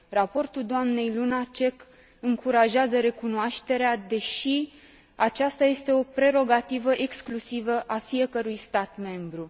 Raportul doamnei Lunacek încurajează recunoașterea, deși aceasta este o prerogativă exclusivă a fiecărui stat membru.